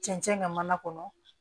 Cɛncɛn ŋa mana kɔnɔ